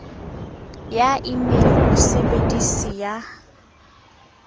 ya e mail mosebedisi a